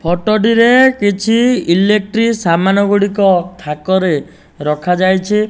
Photo ଟିରେ କିଛି electric ସାମାନ୍ ଗୁଡ଼ିକ ଥାକରେ ରଖାଯାଇଛି।